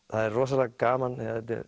það er rosalega gaman